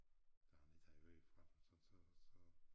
Da han ikke havde hørt fra dem så så så